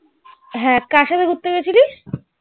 হ্যাঁ কার সাতে ঘুরতে গেছিলিস?